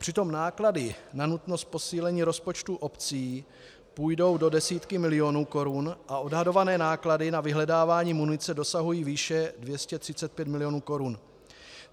Přitom náklady na nutnost posílení rozpočtů obcí půjdou do desítek milionů korun a odhadované náklady na vyhledávání munice dosahují výše 235 milionů korun.